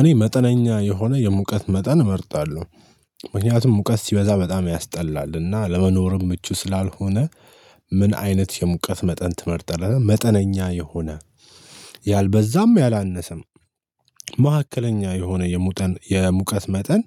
እኔ መጠነኛ የሆነ የሙቀት መጠን እመርጣለሁ ምክንያቱም ሙቀት ሲበዛ በጣም ያስጠላልና ለመኖርም ምቹ ስላልሆነ። ምን አይነት የሙቀት መጠን ትመርጠናለህ? መጠነኛ የሆነ ያልበዛም ያላነሰም። መካከለኛ የሆነ የሙቀት መጠን።